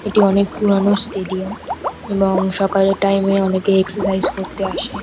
এটি অনেক পুরানো স্টেডিয়াম এবং সকালের টাইম -এ অনেকে এক্সারসাইজ করতে আসে।